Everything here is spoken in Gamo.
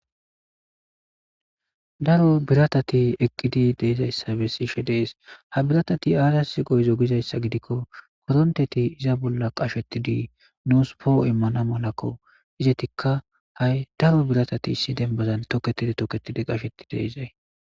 aro biratati eqqidi deezayssabe siishe dees ha biratati aaryas goyzo gizayssa gidikko koronteti iza bolla qashetidi nuus poo immana malakko izetikka ha7i daro biratati issi dembazan toketidi toketidi qasheti deezay